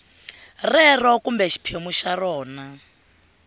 rero kumbe xiphemu xa rona